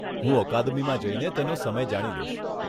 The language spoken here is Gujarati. હું અકાદમીમાં જઈને તેનો સમય જાણી લઈશ.